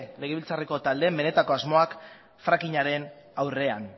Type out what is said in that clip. legebiltzarreko taldeen benetako asmoak fracking aren aurrean